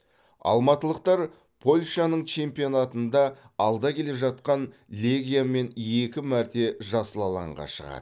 алматылықтар польшаның чемпионатында алда келе жатқан легиямен екі мәрте жасыл алаңға шығады